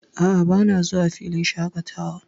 A'a, bana zuwa filin shaƙatawa.